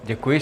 Děkuji.